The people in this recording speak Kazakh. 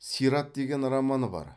сират деген романы бар